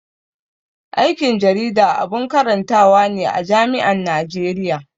Aikin jarida abun karantawa ne a jami'an Najeriya.